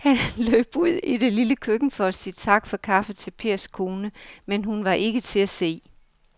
Han løb ud i det lille køkken for at sige tak for kaffe til Pers kone, men hun var ikke til at se.